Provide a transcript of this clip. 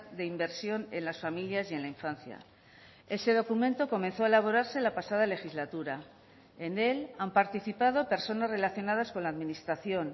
de inversión en las familias y en la infancia ese documento comenzó a elaborarse la pasada legislatura en él han participado personas relacionadas con la administración